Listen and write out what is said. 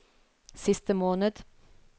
siste måned